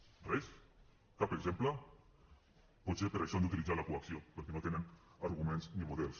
res cap exemple potser per això han d’utilitzar la coacció perquè no tenen arguments ni models